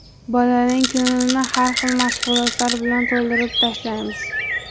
Bolaning kunini har xil mashg‘ulotlar bilan to‘ldirib tashlaymiz.